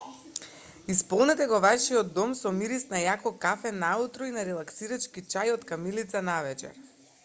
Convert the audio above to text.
исполнете го вашиот дом со мирис на јако кафе наутро и на релаксирачки чај од камилица навечер